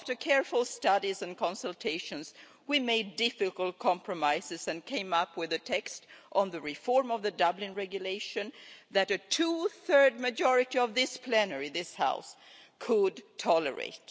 After careful studies and consultations, we made difficult compromises and came up with a text on the reform of the Dublin Regulation that a two-thirds majority of this plenary this House could tolerate.